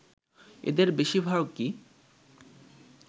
এদের বেশিরভাগই